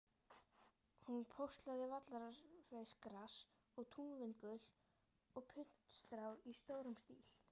Hún póstlagði vallarsveifgras og túnvingul og puntstrá í stórum stíl.